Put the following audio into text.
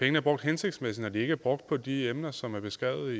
er brugt hensigtsmæssigt når de ikke er brugt på de emner som er beskrevet